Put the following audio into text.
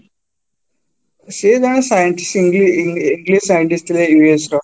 ସେ ଜଣେ scientist english english scientist english ର